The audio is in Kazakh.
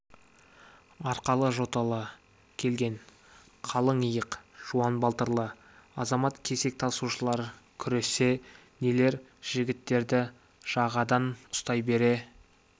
арқалы жоталы келген қалың иық жуан балтырлы азамат кесек тасушылар күрессе нелер жігіттерді жағадан ұстай бере